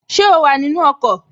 Ṣé o wà nínu ọkọ̀?